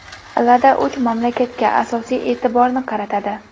Lada uch mamlakatga asosiy e’tiborni qaratadi.